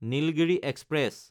Nilgiri express